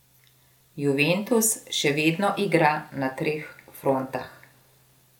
Juventus še vedno igra na treh frontah.